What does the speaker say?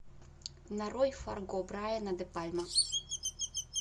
нарой фарго брайана де пальма